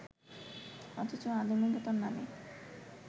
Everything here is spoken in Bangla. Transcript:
অথচ আধুনিকতার নামে